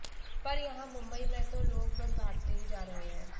पर यहां मुंबई में तो लोग बस भागते ही जा रहे हैं